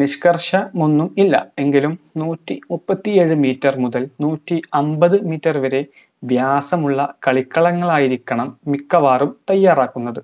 നിഷ്കര്ഷമൊന്നും ഇല്ല എങ്കിലും നൂറ്റി മുപ്പത്തിയേഴു meter മുതൽ നൂറ്റി അമ്പത് meter വരെ വ്യാസമുള്ള കളിക്കളങ്ങളായിരിക്കണം മിക്കവാറും തയ്യാറാക്കുന്നത്